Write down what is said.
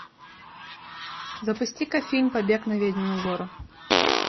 запусти ка фильм побег на ведьмину гору